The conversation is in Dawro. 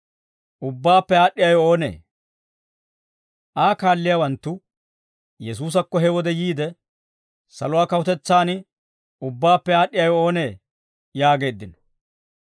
Aa kaalliyaawanttu Yesuusakko he wode yiide, «Saluwaa kawutetsaan ubbaappe aad'd'iyaawe oonee?» yaageeddino.